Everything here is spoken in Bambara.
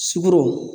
Sukoro